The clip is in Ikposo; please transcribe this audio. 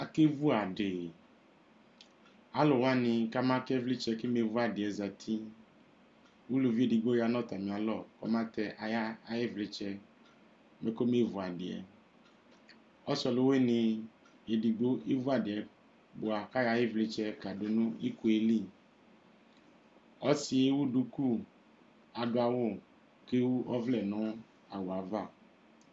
Akevu adi Alʋwani kabakɛ ivlitsɛ kebevu adi yɛ zati Uluvi ɛdigbo ya nʋ atami alɔ kɔma tɛ ayi vlitsɛ bi kʋ ɔbeevu adi yɛ Ɔsi ɔlʋwini ɛdigbo evu adi yɛ boa kʋ ayɔ ayi vlitsɛ kadʋ nʋ iko yɛ li Ɔsi yɛ ewu duku, kʋ adʋ awʋ k'ewu ɔvlɛ nʋ awʋ yɛ ava